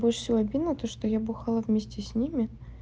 больше всего обидно то что я бухала вместе с ними